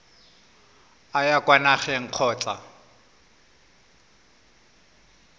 o ya kwa nageng kgotsa